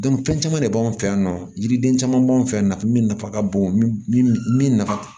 fɛn caman de b'anw fɛ yan nɔ yiriden caman b'an fɛ yan nafa min nafa ka bon min min min nafa